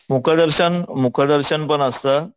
मुख दर्शन मुख दर्शन पण असतं,